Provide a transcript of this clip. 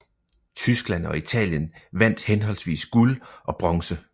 Tyskland og Italien vandt henholdsvis guld og bronze